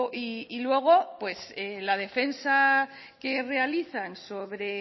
y luego pues la defensa que realizan sobre